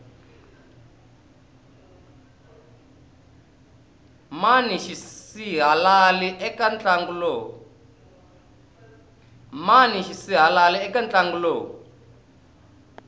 mani xisihalali eka ntlangu lowu